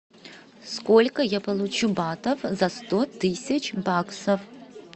сколько я получу батов за сто тысяч баксов